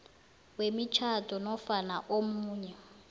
wemitjhado nofana omunye